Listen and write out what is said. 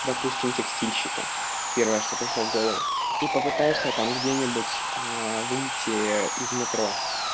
допустим текстильщики первое что пришло в голову и попытаешься там где-нибудь а выйти из метро